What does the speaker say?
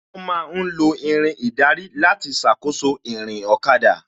Wón ma ń lo Irin ìdarí láti ṣàkóso ìrìn ọ̀kada